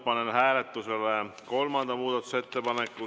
Panen hääletusele kolmanda muudatusettepaneku.